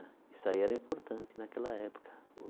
Isso aí era importante naquela época.